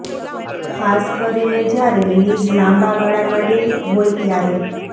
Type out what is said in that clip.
ખાસ કરીને જ્યારે લીઝ લાંબા ગાળા માટે હોય ત્યારે